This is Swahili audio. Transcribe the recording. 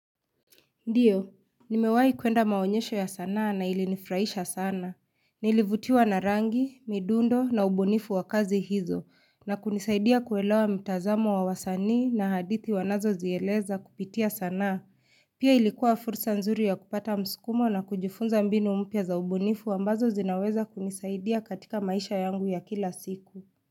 Ndiyo, nimewai kuenda maonyesho ya sanaa na ilinifurahisha sana. Nilivutiwa na rangi, midundo na ubunifu wa kazi hizo na kunisaidia kuwelewa mitazamo wa wasani na hadithi wanazo zieleza kupitia sanaa. Pia ilikuwa fursa nzuri ya kupata mskumo na kujifunza mbinu mpya za ubunifu ambazo zinaweza kunisaidia katika maisha yangu ya kila siku.